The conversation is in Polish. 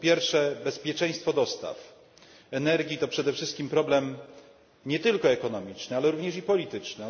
Po pierwsze, bezpieczeństwo dostaw energii to przede wszystkim problem nie tylko ekonomiczny, ale również i polityczny.